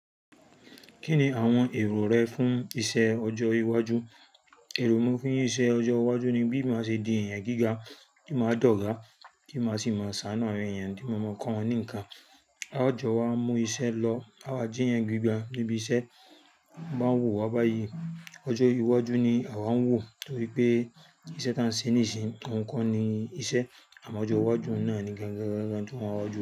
Kí ni àwọn èrò rẹ fún iṣẹ́ ọjọ́ iwájú? Èrò mi fún iṣẹ́ ọjọ́ iwájú ni bí màá ṣe di èèyàn gíga, kí màá di ọ̀gá, kí màá sì máa ṣàanu awon èèyàn tí mo mọ̀ kàn wọ́n ní nǹkan. A ó jọ wá mú iṣẹ́ lọ, à wa jíyàn gbígba níbi iṣẹ́, máa ń wò wá báyìí. Ọjọ́ iwájú ni àwa ń wò torí pé iṣẹ́ ta ń ṣe níìsín òhun ko ni iṣẹ́, àmọ́ ọjọ́ iwájú un náà ni gangan tí mo n wá ju.